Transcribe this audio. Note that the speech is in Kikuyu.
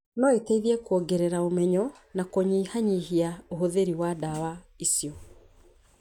no iteithie kwongerera ũmenyo na kũnyihanyihia ũhũthĩri wa ndawa icio.